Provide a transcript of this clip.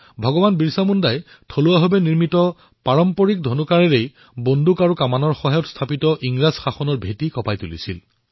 ভগৱান বিৰছা মুণ্ডাই কেৱল নিজৰ ধনুকাঁড়ৰ জৰিয়তেই বন্দুক আৰু টোপ লোৱা ইংৰাজী শাসনক কঁপাই তুলিছিল